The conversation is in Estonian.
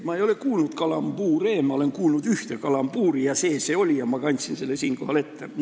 Ma ei ole kuulnud kalambuure, ma olen kuulnud ühte kalambuuri, see see oli ja ma kandsin selle siinkohal ette.